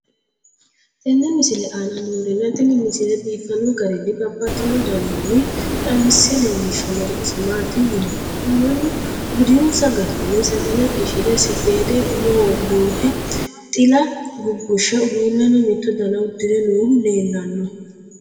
tenne misile aana noorina tini misile biiffanno garinni babaxxinno daniinni xawisse leelishanori isi maati yinummoro mannu budinssa garinni sagale qishire saffeede umoho duhe xilla gugushe uduunnenno mitto danna udirre noohu leelanno